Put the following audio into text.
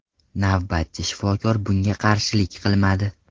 Navbatchi shifokor bunga qarshilik qilmadi.